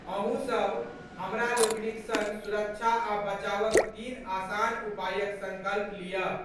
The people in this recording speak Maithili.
अहूँ सब हमरा लोकनिक संग सुरक्षा आ बचावक तीन आसान उपायक संकल्प लियऽ।